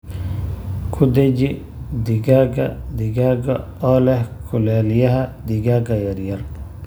Ku dheji digaagga digaagga oo leh kululeeyaha digaagga yaryar.